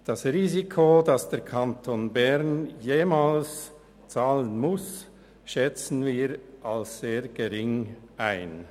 Das Risiko, dass der Kanton Bern jemals zahlen muss, schätzen wir als sehr gering ein.